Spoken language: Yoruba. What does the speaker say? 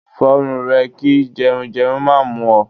Fọrùn rẹ kí jẹrun jẹrun má mú ọ!